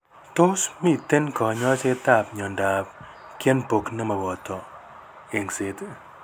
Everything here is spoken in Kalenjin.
Tos miten kanyaiset ab myondab Kienbock nemoboto eng'set